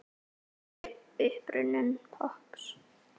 Hver er uppruni popps?